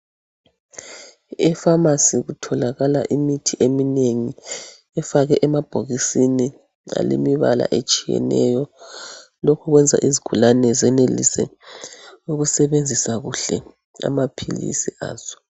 Efamasi kutholakala imithi eminengi efakwe emabhokisini alemibala etshiyeneyo lokhu kwenza izigulane zenelise ukusebenzisa kuhle amaphilisi azo.